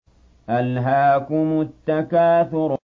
أَلْهَاكُمُ التَّكَاثُرُ